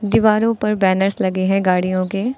दीवारों पर बैनर्स लगे हैं गाड़ियों के।